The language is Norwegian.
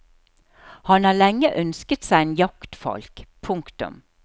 Han har lenge ønsket seg en jaktfalk. punktum